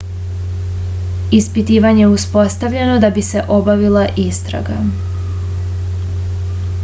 ispitivanje je uspostavljeno da bi se obavila istraga